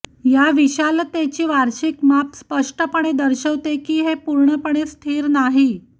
या विशालतेची वार्षिक माप स्पष्टपणे दर्शवते की हे पूर्णपणे स्थिर नाही